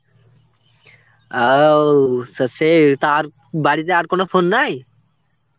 আও সা সে তার বাড়িতে আর কোন phone নাই?